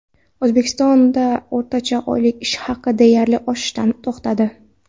O‘zbekistonda o‘rtacha oylik ish haqi deyarli o‘sishdan to‘xtadi.